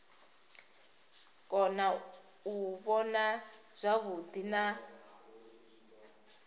kona u vhona zwavhuḓi na